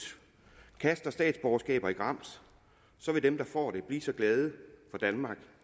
kaster statsborgerskaber i grams vil dem der får det blive så glade for danmark